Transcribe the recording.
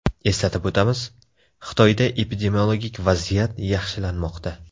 Eslatib o‘tamiz, Xitoyda epidemiologik vaziyat yaxshilanmoqda.